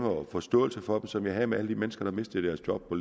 og forståelse for dem som jeg havde for alle de mennesker der mistede deres job på